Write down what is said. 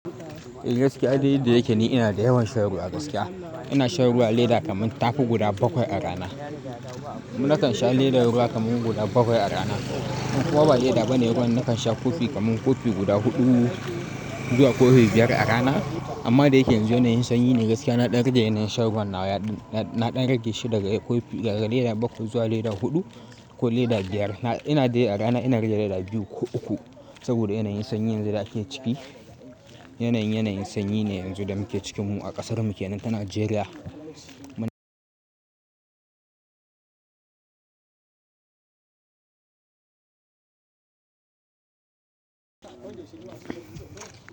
Eh gaskiya dai duk da yake ne ina da yawan shan ruwa gaskiya. Ina shan ruwa leda kamar tafi guda bakwai a rana. Nakan sha ledar ruwa kaman guda bakwai a rana. Ko ba leda bane ruwan nakan sha kofi kamar kofi guda huɗu zuwa kofi biyar a rana. Amma da yake yanzu yanayin sanyi ne gaskiya na ɗan rage yanayin shan ruwan nawa. Na ɗan rage shi daga kofi-- daga leda bakwai zuwa leda huɗu ko leda biyar. Ina dai a rana ina rage leda biyu ko uku saboda yanayin sanyi yanzu da ake ciki. Yanayin, yanayin sanyi ne yanzu da muke cikin mu a ƙasar mu kenan ta Najeriya.